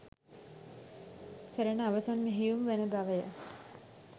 කරන අවසන් මෙහෙයුම් වන බවය.